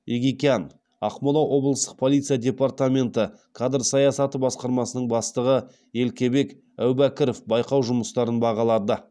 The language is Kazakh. егикян ақмола облыстық полиция департаменті кадр саясаты басқармасының бастығы елкебек әубәкіров байқау жұмыстарын бағалады